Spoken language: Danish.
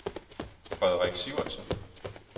Frederik Sivertsen